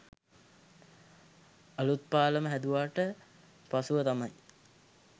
අලූත් පාලම හැදුවාට පසුව තමයි